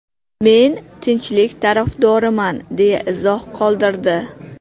Men tinchlik tarafdoriman!” deya izoh qoldirdi.